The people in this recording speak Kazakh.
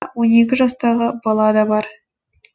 жастағы бала да бар